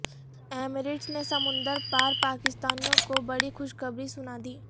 Emirates نے سمندر پار پاکستانیوں کو بڑی خوشخبری سنادی